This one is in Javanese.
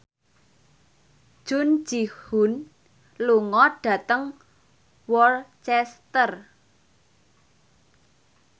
Jun Ji Hyun lunga dhateng Worcester